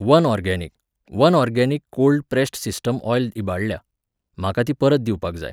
One organic, one organic cold pressed sesame oil इबाडल्या, म्हाका ती परत दिवपाक जाय.